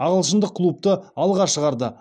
ағылшындық клубты алға шығарды